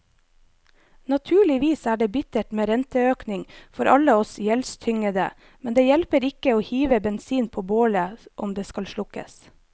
Naturligvis er det bittert med renteøkning for alle oss gjeldstyngede, men det hjelper ikke å hive bensin på bålet om det skal slukkes.